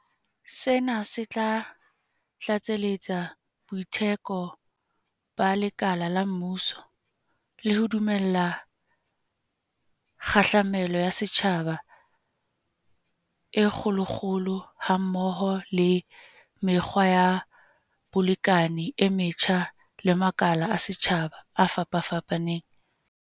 Sena se tla tlatseletsa boiteko ba lekala la mmuso, le ho dumella kgahlamelo ya setjhaba e kgolokgolo hammoho le mekgwa ya bolekane e metjha le makala a setjhaba a fapafapaneng.